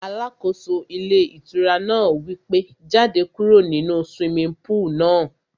Alákóso ilé ìtura náà wí pé, jáde kúrò nínu swimming pool náà